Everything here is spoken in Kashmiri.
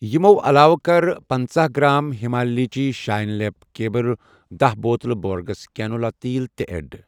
یِمو علاوٕ کَر پنژاہ گرٛام ہِمالیچی شاین لِپ کییر ، داہ بوتلہٕ بورگِس کیٚنولا تیٖل تہِ ایڈ۔